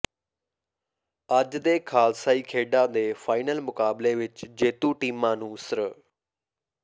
ਅੱਜ ਦੇ ਖਾਲਸਾਈ ਖੇਡਾਂ ਦੇ ਫਾਈਨਲ ਮੁਕਾਬਲੇ ਵਿੱਚ ਜੇਤੂ ਟੀਮਾਂ ਨੂੰ ਸ੍ਰ